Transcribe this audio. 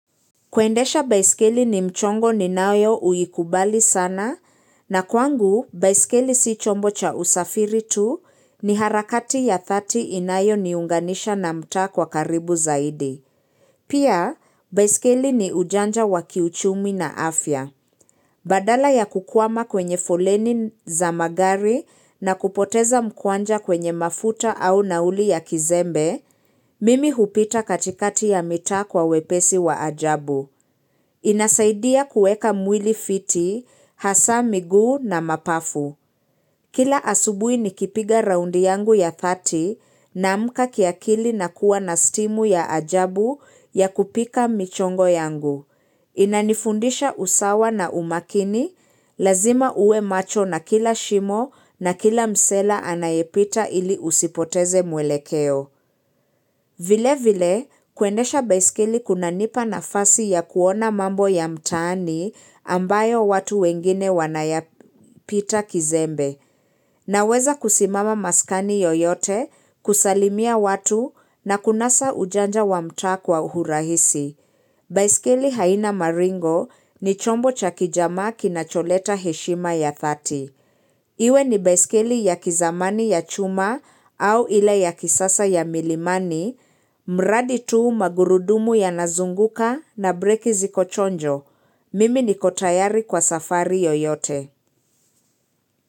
Kuendesha baiskeli ni mchongo ninayoiukubali sana na kwangu baiskeli si chombo cha usafiri tu ni harakati ya dhati inayo niunganisha na mta kwa karibu zaidi. Pia baiskeli ni ujanja wa kiuchumi na afya. Badala ya kukwama kwenye fuleni za magari na kupoteza mkwanja kwenye mafuta au nauli ya kizembe, mimi hupita katikati ya mita kwa wepesi wa ajabu. Inasaidia kueka mwili fiti, hasa miguu na mapafu. Kila asubui nikipiga raundi yangu ya dhati naamka kiakili na kuwa na stimu ya ajabu ya kupika michongo yangu. Inanifundisha usawa na umakini, lazima uwe macho na kila shimo na kila msela anayepita ili usipoteze mwelekeo. Vile vile kuendesha baiskeli kunanipa nafasi ya kuona mambo ya mtani ambayo watu wengine wanayapita kizembe naweza kusimama maskani yoyote kusalimia watu na kunasa ujanja wa mtaa kwa uhurahisi. Baiskeli haina maringo ni chombo cha kijamaa kinacholeta heshima ya dhati. Iwe ni baiskeli ya kizamani ya chuma au ila ya kisasa ya milimani, mradi tuu magurudumu ya nazunguka na breki ziko chonjo. Mimi niko tayari kwa safari yoyote.